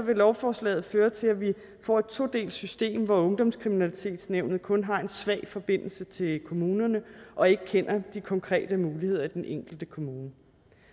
vil lovforslaget føre til at vi får et todelt system hvor ungdomskriminalitetsnævnet kun har en svag forbindelse til kommunerne og ikke kender de konkrete muligheder i den enkelte kommune